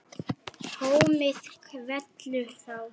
Tómið kvelur þá.